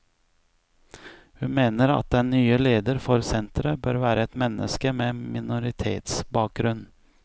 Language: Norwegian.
Hun mener at den nye leder for senteret bør være et menneske med minoritetsbakgrunn.